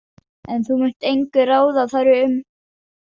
En þú munt engu ráða þar um.